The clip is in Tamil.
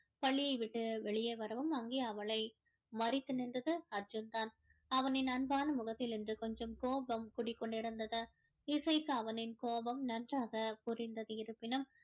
பள்ளியை விட்டு வெளியே வரவும் அங்கே அவளை மறித்து நின்றது அர்ஜுன் தான் அவனின் அன்பான முகத்திலிருந்து கொஞ்சம் கோபம் குடிகொண்டிருந்தது இசைக்கு அவனின் கோபம் நன்றாக புரிந்தது இருப்பினும்